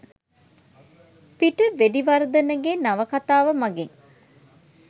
පිට.වෙඩිවර්ධනගේ නවකතාව මගින්